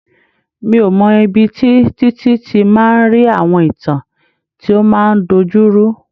Mi ò mọ̀ ibi tí Títí ti máa ń rí àwọn ìtàn tí ó máa ń dojuru.